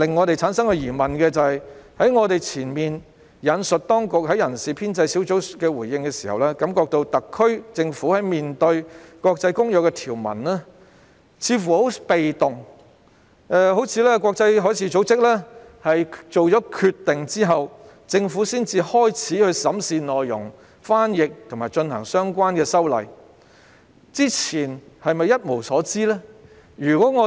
就此，我們難免會產生疑問：我之前引述當局在人事編制小組委員會會議上的回應，令人感覺特區政府在面對《公約》條文時似乎很被動，像是在國際海事組織作出決定後，政府才開始審視和翻譯有關內容，然後才着手進行相關的修例工作，但在這之前，它是否真的一無所知呢？